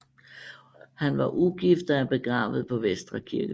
Han var ugift og er begravet på Vestre Kirkegård